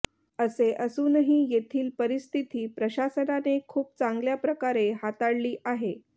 असे असूनही येथील परिस्थिती प्रशासनाने खूप चांगल्या प्रकारे हाताळली आहे